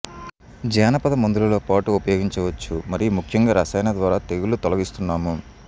జానపద మందులలో పాటు ఉపయోగించవచ్చు మరియు ముఖ్యంగా రసాయన ద్వారా తెగుళ్లు తొలగిస్తున్నాము